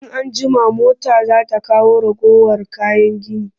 In an jima mota za ta kawo ragowar kayan gini